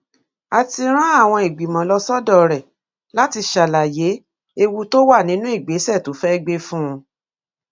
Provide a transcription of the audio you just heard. a ti rán àwọn ìgbìmọ lọ sọdọ rẹ láti ṣàlàyé ewu tó wà nínú ìgbésẹ tó fẹẹ gbé fún un